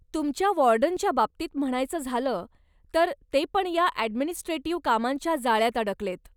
तुमच्या वॉर्डनच्या बाबतीत म्हणायचं झालं तर, ते पण या ॲडमिनिस्ट्रेटिव्ह कामांच्या जाळ्यात अडकलेत.